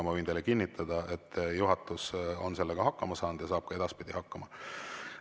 Ma võin teile kinnitada, et juhatus on sellega hakkama saanud ja saab ka edaspidi hakkama.